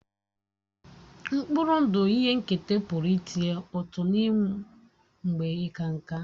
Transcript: Mkpụrụ ndụ ihe nketa pụrụ ịtụnye ụtụ n'ịnwụ mgbe ịka nká